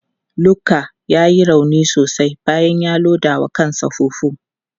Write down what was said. Luka ya yi rauni sosai bayan ya loda wa kansa fufu.